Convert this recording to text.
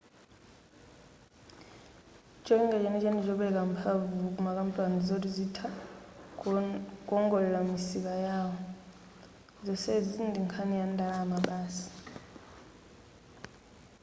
cholinga chenicheni ndichopereka mphamvu kumakampani zoti azitha kuwongolera misika yawo zonsezi ndinkhani ya ndalama basi